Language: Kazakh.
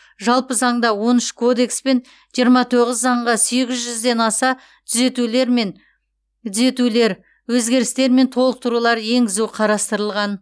жалпы заңда он үш кодекс пен жиырма тоғыз заңға сегіз жүзден аса түзетулер мен түзетулер өзгерістер мен толықтырулар енгізу қарастырылған